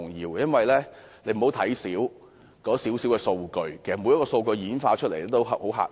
大家不要看輕小小的數據，每項數據演化出來的數字均十分嚇人。